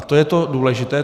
A to je to důležité.